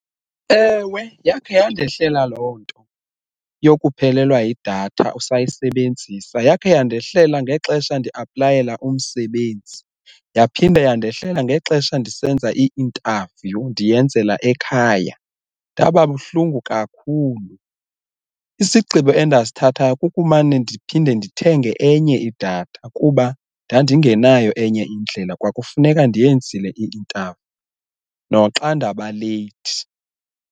Ewe, yakhe yandehlela loo nto yokuphelelwa yidatha usayisebenzisa, yakhe yandehlela ngexesha ndi-aplayela umsebenzi yaphinda yandehlela ngexesha ndisenza i-interview ndiyenzela ekhaya ndaba buhlungu kakhulu. Isigqibo endasithathayo kukumane ndiphinde ndithenge enye idatha kuba ndandingenayo enye indlela kwakufuneka ndiyenzile i-interview noxa ndaba leyithi.